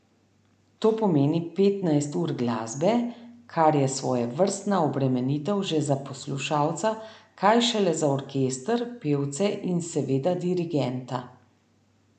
To pomeni petnajst ur glasbe, kar je svojevrstna obremenitev že za poslušalca, kaj šele za orkester, pevce in seveda dirigenta.